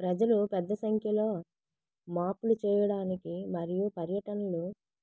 ప్రజలు పెద్ద సంఖ్యలో మాప్లు చేయడానికి మరియు పర్యటనలు